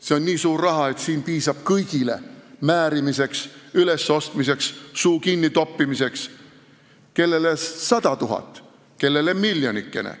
See on nii suur raha, et siin piisab kõigile määrimiseks, ülesostmiseks, suu kinni toppimiseks – kellele sada tuhat, kellele miljonikene.